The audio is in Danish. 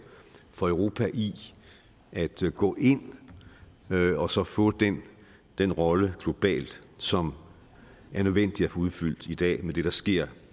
for europa i at gå ind og så få den den rolle globalt som er nødvendig at få udfyldt i dag med det der sker